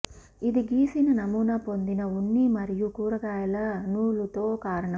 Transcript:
ఇది గీసిన నమూనా పొందిన ఉన్ని మరియు కూరగాయల నూలుతో కారణం